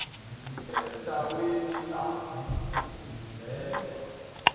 eendaweni la kusizelwa